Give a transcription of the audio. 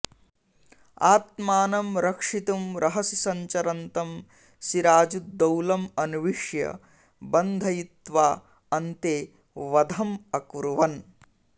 आत्मानं रक्षितुं रहसि सञ्चरन्तं सिराजुद्दौलम् अन्विष्य बन्धयित्वा अन्ते वधम् अकुर्वन्